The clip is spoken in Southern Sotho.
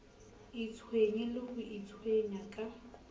itshwenye le ho itshwenya ka